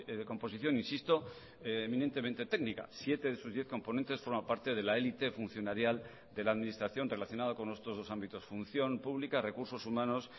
de composición insisto eminentemente técnica siete de sus diez componentes forman parte de la elite funcionarial de la administración relacionado con estos dos ámbitos función pública recursos humanos